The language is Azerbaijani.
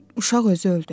uşaq özü öldü.